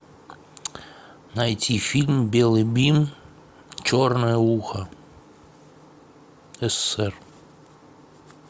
найти фильм белый бим черное ухо ссср